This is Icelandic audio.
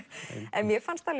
en mér fannst